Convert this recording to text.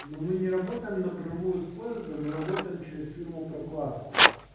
но мы не работаем напрямую с поезда мы работаем через фирму прокладку